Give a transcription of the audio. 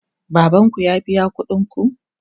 Baban ku ya biya kuɗin ku?